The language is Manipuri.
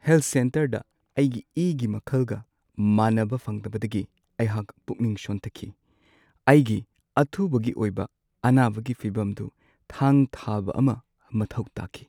ꯍꯦꯜꯊ ꯁꯦꯟꯇꯔꯗ ꯑꯩꯒꯤ ꯏꯒꯤ ꯃꯈꯜꯒ ꯃꯥꯟꯅꯕ ꯐꯪꯗꯕꯗꯒꯤ ꯑꯩꯍꯥꯛ ꯄꯨꯛꯅꯤꯡ ꯁꯣꯟꯊꯈꯤ꯫ ꯑꯩꯒꯤ ꯑꯊꯨꯕꯒꯤ ꯑꯣꯏꯕ ꯑꯅꯥꯕꯒꯤ ꯐꯤꯚꯝꯗꯨ ꯊꯥꯡ-ꯊꯥꯕ ꯑꯃ ꯃꯊꯧ ꯇꯥꯈꯤ꯫